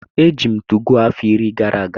Eji m 2go afọ iri gara aga.